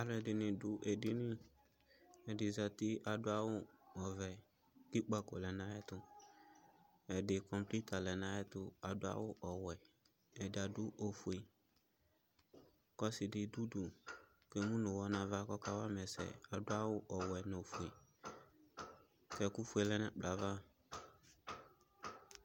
Alʊ ɛdɩnɩ dʊ edinɩ ɛdɩ zatɩ kʊ adʊ awuvɛ kʊ ɩkpako lenu ayʊ ɛtʊ ɛdɩ komputa lɛnu ayɛtʊ kʊ adʊ awu ɔwɛ ɛdɩ adʊ ifʊe kʊ ɔsɩdɩ dʊ ʊdʊ kʊ emʊ nʊ ʊwɔ nʊ ʊdʊ kʊ aka wama ɛsɛ adʊ awʊ ɔvɛ nʊ ofʊe kʊ ɛkʊfʊe lɛnʊ ɛkplɔɛ ava